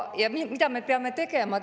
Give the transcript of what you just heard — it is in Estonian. Mida me peame tegema?